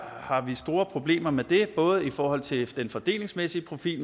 har vi store problemer med det både i forhold til den fordelingsmæssige profil